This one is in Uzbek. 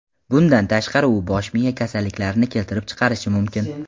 Bundan tashqari, u bosh miya kasalliklarini keltirib chiqarishi mumkin.